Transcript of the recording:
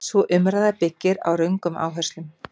Sú umræða byggir á röngum áherslum.